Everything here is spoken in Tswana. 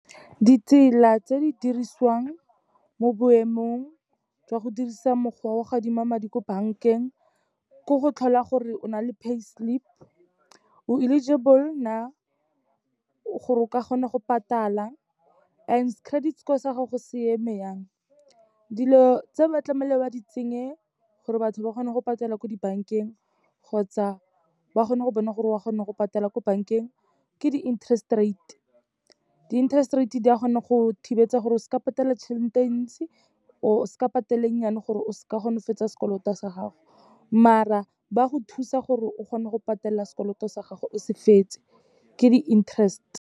Ditsela tse di dirisiwang mo boemong jwa go dirisa mokgwa wa go adima madi ko bankeng, ke go tlhola gore o na le payslip, o eligible na gore o ka kgona go patala and credit score sa gago se eme yang. Dilo tse, ba tlamile ba di tsenye gore batho ba kgona go patela ko dibankeng kgotsa ba kgone go bona gore o a kgona go patela ko bankeng, ke di-interest rate. Di-interest rate di a kgona go thibetsa gore o se ka patela tšhelete e ntsi, or o sa patela e nnyane gore o se ka gonne o fetsa sekoloto sa gago, maar-a ba go thusa gore o kgone go patela sekoloto sa gago o se fetse, ke di-interest.